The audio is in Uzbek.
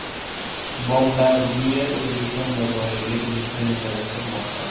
Bombardier O‘zbekiston bozoriga kirishni rejalashtirmoqda.